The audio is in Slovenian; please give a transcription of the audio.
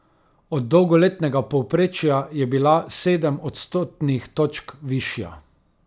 Od dolgoletnega povprečja je bila sedem odstotnih točk višja.